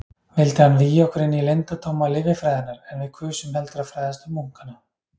Vildi hann vígja okkur inní leyndardóma lyfjafræðinnar, en við kusum heldur að fræðast um munkana.